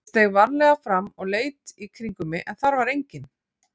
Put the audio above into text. Ég steig varlega fram og leit í kringum mig en þar var enginn.